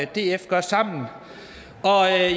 df gøre sammen